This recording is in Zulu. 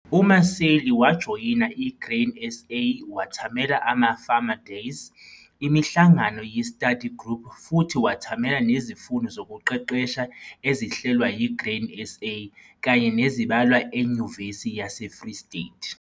UMaseli wajoyina iGrain SA wathamela ama farmer days, imihlangano ye-study group futhi wethamela nezifundo zokuqeqesha ezihlelwa yi-Grain SA kanye nezibalwa eNyuvesi yaseFree State.